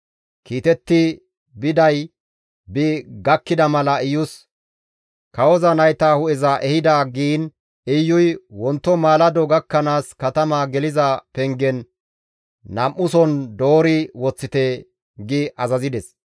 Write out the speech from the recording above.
Kiitetti biday bi gakkida mala Iyus, «Kawoza nayta hu7eza ehida» giin Iyuy, «Wonto maalado gakkanaas katama geliza pengen nam7uson doori woththite» gi azazides.